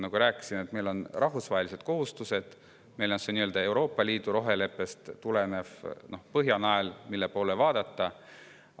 Ma rääkisin, et oleme endale võtnud rahvusvahelised kohustused: meil on see Euroopa roheleppest tulenev nii-öelda Põhjanael, mille poole vaadata.